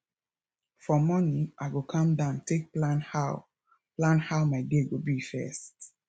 for morning i go calm down take plan how plan how my day go be first